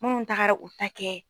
Munnu taagara u ta kɛ.